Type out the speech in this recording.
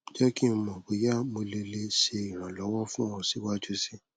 jẹ ki n mọ boya mo le le ṣe iranlọwọ fun ọ siwaju sii